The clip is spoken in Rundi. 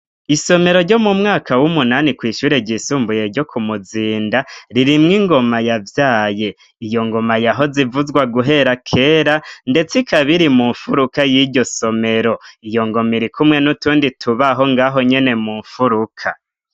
Isomero ryo mu mwaka w'umunani kw' ishure ryisumbuye ryo Kumuzinda, ririmwo ingoma yavyaye. Iyo ngoma yahoze ivuzwa guhera kera, ndetse ikabiri mu nfuruka y'iryo somero. Iyo ngoma irikumwe n'utundi tubaho ngaho nyene mu nfuruka.